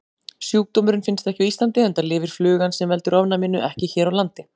Sjúkdómurinn finnst ekki á Íslandi enda lifir flugan sem veldur ofnæminu ekki hér á landi.